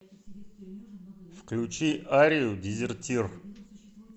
включи арию дезертир